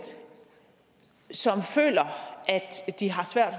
som føler at de har svært